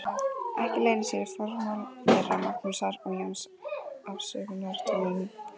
Ekki leynir sér í formála þeirra Magnúsar og Jóns afsökunartónninn.